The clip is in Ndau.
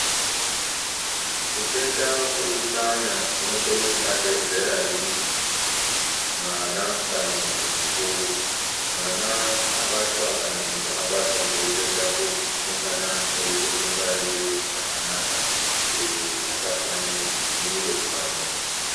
Utenda hwekunhlanya hunokona kubata zera riri ,mwana kana muntu mukuru, mwana abatwa kana muntu abatwa ngeutenda uhu unongana eide kungwarire zvakanaka kuti asapwanye zviro pamuzi.